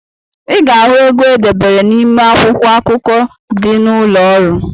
I ga-ahụ ego e debere n’ime akwụkwọ akụkọ dị n’ụlọọrụ